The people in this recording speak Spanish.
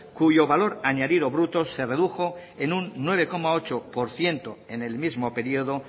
cuyo valor añadido bruto se redujo en un nueve coma ocho por ciento en el mismo periodo